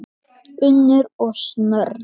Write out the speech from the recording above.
Unnur og Snorri.